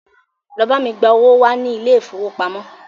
Lọ bá mi gba owó wá ní ilé ìfowópamọ́!